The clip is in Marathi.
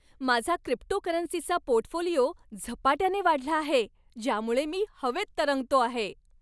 माझा क्रिप्टोकरन्सीचा पोर्टफोलिओ झपाट्याने वाढला आहे, ज्यामुळे मी हवेत तरंगतो आहे.